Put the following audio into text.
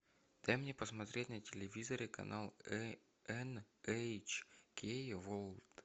дай мне посмотреть на телевизоре канал эн эйч кей ворлд